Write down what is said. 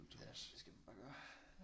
Ja det skal du bare gøre